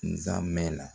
Nzamɛn na